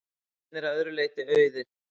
Veggirnir að öðru leyti auðir.